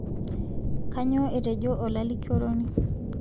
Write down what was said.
kanyoo etojo olalikioroni